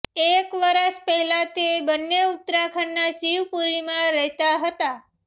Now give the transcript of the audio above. એક વર્ષ પહેલાં તે બંને ઉત્તરાખંડના શિવપુરીમાં રહેતાં હતાં